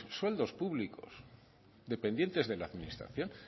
sueldos públicos dependientes de la administración